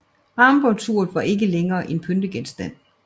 Armbåndsuret var ikke længere en pyntegenstand